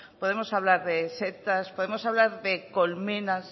podemos hablar de setas podemos hablar de colmenas